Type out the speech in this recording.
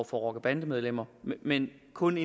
for rocker og bandemedlemmer men kun